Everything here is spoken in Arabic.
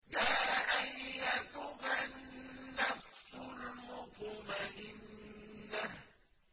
يَا أَيَّتُهَا النَّفْسُ الْمُطْمَئِنَّةُ